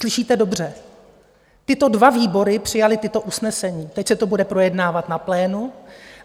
Slyšíte dobře, tyto dva výbory přijaly tato usnesení, teď se to bude projednávat na plénu.